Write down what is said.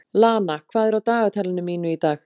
Lana, hvað er á dagatalinu mínu í dag?